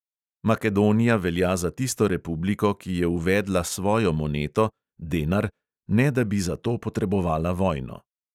Makedonija velja za tisto republiko, ki je uvedla svojo moneto, denar, ne da bi za to potrebovala vojno.